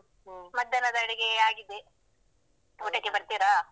ಮಧ್ಯಾಹ್ನದ ಅಡುಗೆ ಆಗಿದೆ. ಊಟಕ್ಕೆ ಬರ್ತೀರಾ?